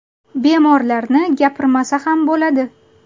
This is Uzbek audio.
Bemorlarni gapirmasa ham bo‘ladi.